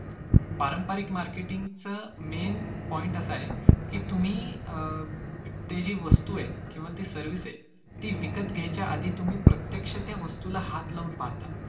पारंपरिक marketing च main point असा आहे की तुम्ही ती जी वस्तू आहे किंवा ती service आहे ती विकत घ्यायच्या आधी तुम्ही प्रत्यक्ष त्या वस्तूला हात लाऊन पाहता.